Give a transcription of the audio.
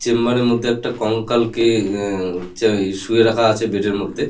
Chamber -এর মধ্যে একটা কঙ্কাল কে ই আ শুয়ে রাখা আছে বেড -এর মধ্যে।